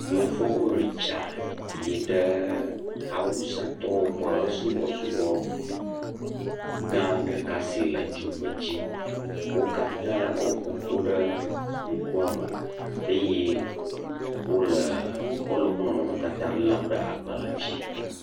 Yevuwo ɖi tsia yi ɖe awusatɔwo ƒe subɔsubɔ gã ɖeka si le dzigbe dzi. Wo katã wò ƒoƒu ɖe ŋkuame eye wole woƒe nɔnɔme tata lem ɖe woƒe agbalẽ dzi